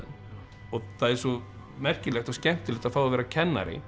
og það er svo merkilegt og skemmtilegt að fá að vera kennari